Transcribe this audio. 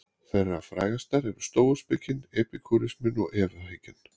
Þeirra frægastar eru stóuspekin, epikúrisminn og efahyggjan.